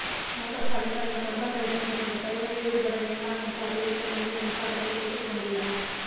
முக ஸ்டாலின் தனது தொண்டர்களிடம் இதுபோன்ற செயல்களில் ஈடுபட வேண்டாம் என்று அறிவுறுத்த வேண்டும் என்றும் அவர்கள் கேட்டுக் கொண்டுள்ளனர்